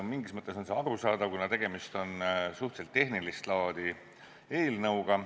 Mingis mõttes on see arusaadav, kuna tegemist on suhteliselt tehnilist laadi eelnõuga.